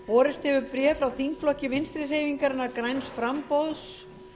borist hefur bréf frá þingflokki vinstri hreyfingarinnar græns framboðs